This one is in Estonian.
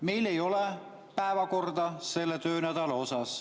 Meil ei ole päevakorda selle töönädala kohta.